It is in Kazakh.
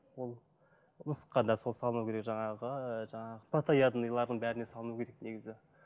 ол мысыққа да сол салыну керек жаңағы жаңағы плотоядныйлардың бәріне салыну керек негізі